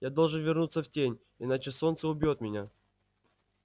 я должен вернуться в тень иначе солнце убьёт меня